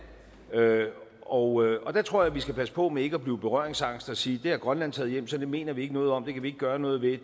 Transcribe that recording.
og og der tror jeg at vi skal passe på med ikke at blive berøringsangste og sige det har grønland taget hjem så det mener vi ikke noget om det kan vi ikke gøre noget ved